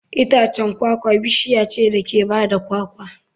Itacen kwakwa bishiya ce da ke ba da kwakwa.